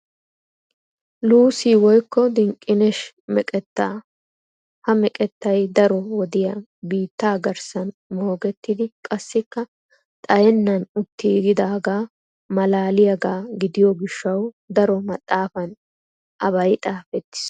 Luussi woykko dinqqineshi meqettaa. Ha meqettay daro wodiyaa biittaa garssan moogettidi qassikka xayennaan uttiyaaggida malaaliyagaa gidiyo gishshawu daro maxaafan abay xaafettiis.